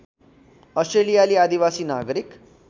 अस्ट्रेलियाली आदिवासी नागरिक